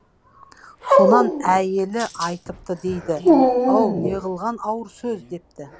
сонан әйелі айтыпты дейді ау неғылған ауыр сөз депті